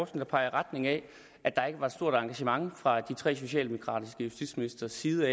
der peger i retning af at der ikke var et stort engagement fra de tre socialdemokratiske justitsministres side